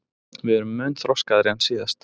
Við erum mun þroskaðri en síðast